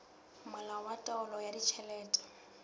molao wa taolo ya ditjhelete